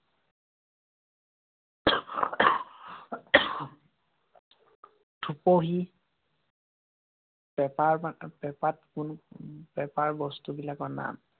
চুপহী পেঁপা~ পেঁপাত পেঁপাৰ বস্তুবিলাকৰ নাম।